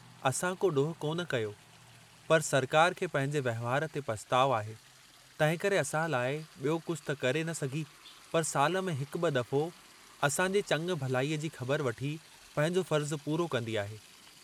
असां को ॾोहु कोन कयो, पर सरकार खे पंहिंजे वहिंवार ते पछुताव आहे, तंहिंकरे असां लाइ ॿियो कुछ त करे न सघी पर साल में हिकु ॿ दफ़ो असां जे चङ भलाईअ जी ख़बर वठी पंहिंजो फ़र्जु पूरो कंदी आहे।